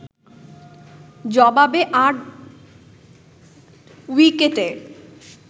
জবাবে ৮ উইকেটে